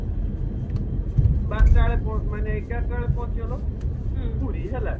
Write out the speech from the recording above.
ବାରଟା ମାନେ ଦିନ ଏଗାରଟା ବେଳେ ପହଞ୍ଚିଗଲ ପୁରୀ ହେଲା